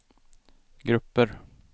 grupper